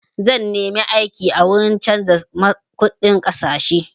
Zan nemi aiki a wuri canza kuɗin ƙasashe.